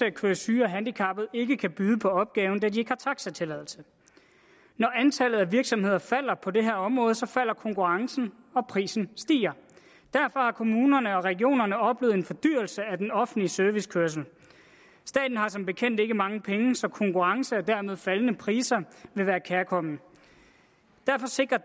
at køre syge og handicappede ikke kan byde på opgaven da de ikke har taxatilladelse når antallet af virksomheder falder på det her område falder konkurrencen og prisen stiger derfor har kommunerne og regionerne oplevet en fordyrelse af den offentlige servicekørsel staten har som bekendt ikke mange penge så konkurrence og dermed faldende priser vil være kærkomment derfor sikrer